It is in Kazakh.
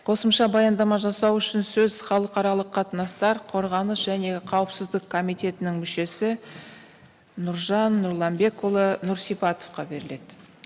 қосымша баяндама жасау үшін сөз халықаралық қатынастар қорғаныс және қауіпсіздік комитетінің мүшесі нұржан нұрланбекұлы нұрсипатовқа беріледі